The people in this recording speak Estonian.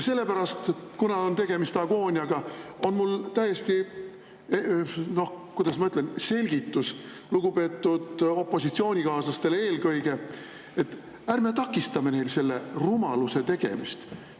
Ja kuna on tegemist agooniaga, siis on mul täiesti, noh, kuidas ma ütlen, selgitus eelkõige lugupeetud opositsioonikaaslastele, et ärme takistame neil selle rumaluse tegemist.